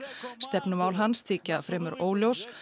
stefnumál hans þykja fremur óljós